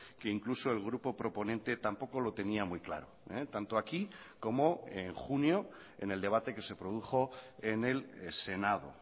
que incluso el grupo proponente tampoco lo tenía muy claro tanto aquí como en junio en el debate que se produjo en el senado